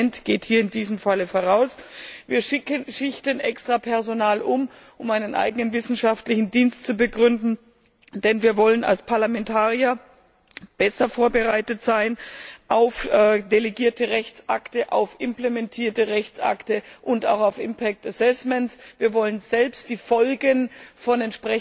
Das Parlament geht hier in diesem Fall voraus, wir schichten extra Personal um, um einen eigenen wissenschaftlichen Dienst zu begründen, denn wir wollen als Parlamentarier besser auf delegierte Rechtsakte, auf implementierte Rechtsakte und auch auf Impact Assessments vorbereitet sein. Wir wollen selbst die Folgen von